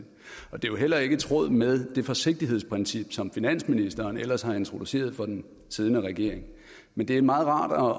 og det er jo heller ikke i tråd med det forsigtighedsprincip som finansministeren ellers har introduceret for den siddende regering med det er meget rart at